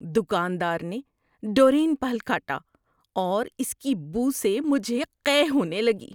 دکاندار نے ڈورین پھل کاٹا اور اس کی بو سے مجھے قے ہونے لگی۔